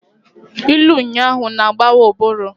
Ilu ụnyahụ na-agbawa ụbụrụ.